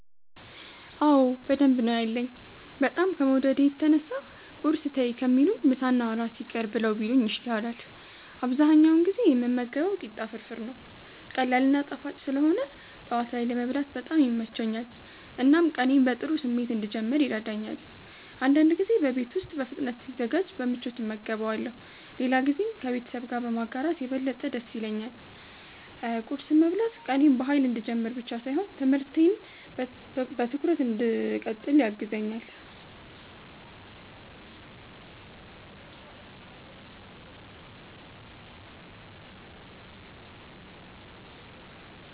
አዎ በደንብ ነው ያለኝ፤ በጣም ከመውደዴ የተነሳ ቁርስ ተይ ከሚሉኝ ምሳና እራት ይቅር ብለው ቢሉኝ ይሻላል። አብዛኛውን ጊዜ የምመገበው ቂጣ ፍርፍር ነው። ቀላል እና ጣፋጭ ስለሆነ ጠዋት ላይ ለመብላት በጣም ይመቸኛል፣ እናም ቀኔን በጥሩ ስሜት እንድጀምር ይረዳኛል። አንዳንድ ጊዜ በቤት ውስጥ በፍጥነት ሲዘጋጅ በምቾት እመገበዋለሁ፣ ሌላ ጊዜም ከቤተሰብ ጋር በማጋራት የበለጠ ደስ ይለኛል። ቁርስ መብላት ቀኔን በኃይል እንድጀምር ብቻ ሳይሆን ትምህርቴን በትኩረት እንድቀጥል ያግዘኛል።